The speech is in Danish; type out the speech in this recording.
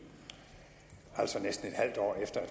altså næsten et halvt år efter at